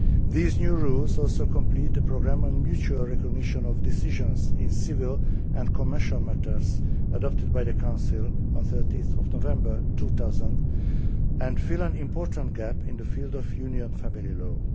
These new rules also complete the programme on mutual recognition of decisions in civil and commercial matters adopted by the Council on 30 November 2000, and fill an important gap in the field of Union family law.